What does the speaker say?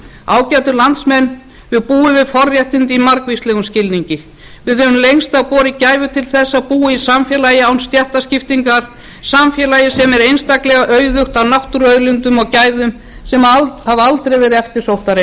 ágætu landsmenn við búum við forréttindi í margvíslegum skilningi við höfum lengst af borið gæfu til að búa í samfélagi án stéttaskiptingar samfélagi sem er einstaklega auðugt af náttúruauðlindum og gæðum sem hafa aldrei verið eftirsóttari en